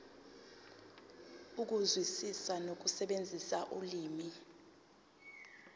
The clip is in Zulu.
ukuzwisisa nokusebenzisa ulimi